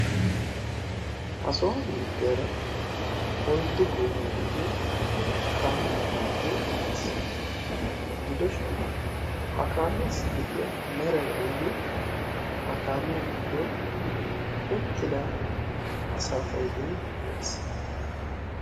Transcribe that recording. ha soan beettiyaara oiddu goomai de'iyo kaame qommo gidiyo erettiis gidoshin ha kaamiyaassi de'iya merai aibee ha kaamiyaa giddon uttida asafaidoi woysee?